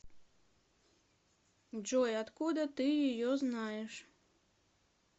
джой откуда ты ее знаешь